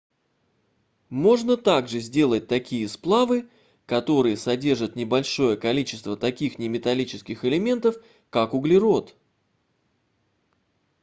можно также сделать такие сплавы которые содержат небольшое количество таких неметаллических элементов как углерод